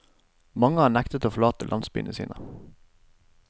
Mange har nektet å forlate landsbyene sine.